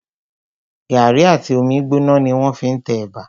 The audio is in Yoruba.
Gàrí àti omi gbóná ni wọ́n fí n te ẹ̀bà